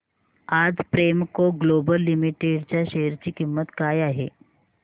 आज Premco global limited च्या share ची किंमत काय आहे